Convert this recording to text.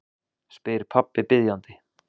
spyr pabbi biðjandi.